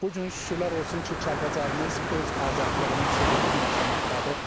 Bu gün şükürlər olsun ki, Kəlbəcərimiz öz azadlığının sevincini yaşamaqdadır.